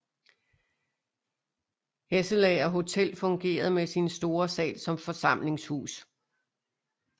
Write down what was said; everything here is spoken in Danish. Hesselager Hotel fungerede med sin store sal som forsamlingshus